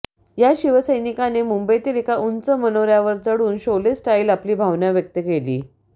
या शिवसैनिकाने मुंबईतील एका उंच मनोर्यावर वर चढून शोले स्टाईल आपली भावना व्यक्त केली